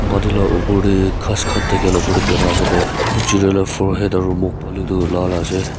pani la upor teh ghas khan thake la upor teh birai ase tai itu chiriya la forehead aru muk phale tu lal ase.